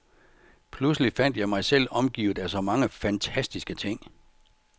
Pludselig fandt jeg mig selv omgivet af så mange fantastiske ting.